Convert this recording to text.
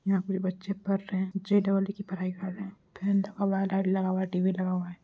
यहाँ पे बच्चे पढ़ रहे है। जे डबल ई की पढ़ाई कर रहे है। फैन लगा हुआ है लाइट लगा हुआ है टी_वी लगा हुआ है।